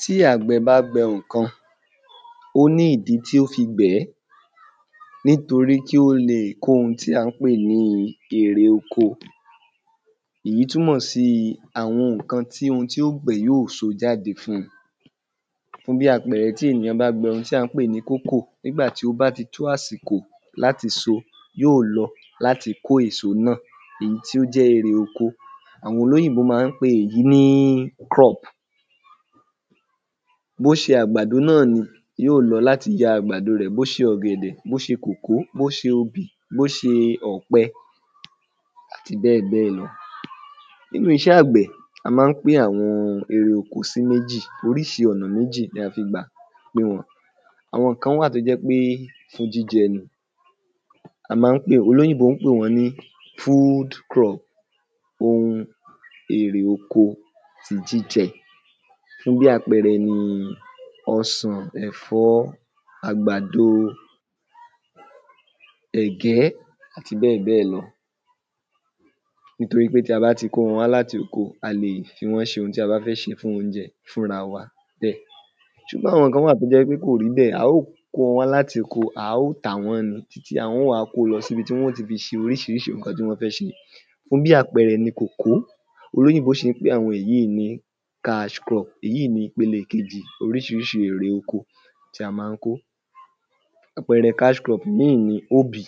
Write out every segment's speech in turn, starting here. Tí àgbẹ̀ bá gbẹn ǹkan ó ní ìdí tí ó fi gbẹ̀n-ẹ́n nítorí kí o lè kó ohun tí à ń pè ní irè oko. Ìyí túmọ̀ síi àwọn ǹkan ti hun tí ó gbẹ̀n yíò so jáde fún. Fún bí àpẹẹrẹ tí ènìyàn bá gbẹn hun tí à ń pè ní kókò. Nígbà tí ó bá ti tó àsìkò láti so yíò lọ láti mo èso náà ìnyí tí ó jẹ́ erè oko. Àwọn olóyìnbo má ń pe èyi ni ‘crop’. Bó ṣe àgbàdo náà ni yíò lọ láti jẹ àgbàdo rẹ̀; bó ṣe ọ̀gẹ̀dẹ̀; bó ṣe kòkó; bó ṣe obì; bó ṣe ọ̀pẹ àti bẹ́ẹ̀ bẹ́ẹ̀ lọ Nínú iṣẹ́ ọ̀gbìn a má ń pín àwọn erè oko sí méjì oríṣi ọ̀nà méjì ni a fi gbà pín wọn. Àwọn kan wà toó jẹ́ pe fún jíjẹ. A má ń pè, olóyìnbo ń pe wọ́n ní ‘food crop’. Ohun erè oko ti jíjẹ fún bí àpẹẹrẹ ni ọsàn ẹ̀fọ́ àgbàdo ẹ̀gẹ́ àti bẹ́ẹ̀ bẹ́ẹ̀ lọ nítorí pé tí a bá ti kó wọn láti oko a lè fi wọ́n ṣe ohun tí a bá fẹ́ ṣefún oúnjẹ fúnra wa bẹ́ẹ̀. Ṣùgbọn kan wà tó jẹ́ wí pé kò rí bẹ́ẹ̀. A ó kó wọn wá láti oko a ó tà wọ́n ni tí àwọn ó wá kó lọ síbi tí wọ́n ó ti fi ṣe oríṣiríṣi ǹkan tí wọn fẹ́ fi ṣe. Fún bí àpẹẹrẹ ni kòkó olóyìnbọ́ ṣi ń pe àwọn yìí ni ‘cash crop’ èyí ni ìpele kejì oríṣiríṣi erè oko tí a má ń kó àpẹẹrẹ ‘cash crop’ míì ni obì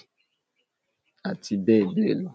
àti bẹ́ẹ̀ bẹ́ẹ̀ lọ.